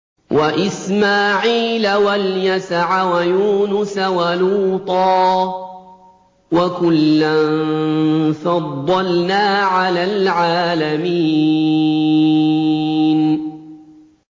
وَإِسْمَاعِيلَ وَالْيَسَعَ وَيُونُسَ وَلُوطًا ۚ وَكُلًّا فَضَّلْنَا عَلَى الْعَالَمِينَ